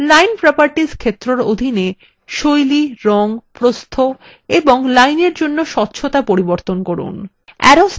line properties ক্ষেত্রএর অধীনে style রঙ প্রস্থ এবং line এর জন্য স্বচ্ছতা পরিবর্তন করুন